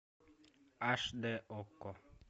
аш дэ окко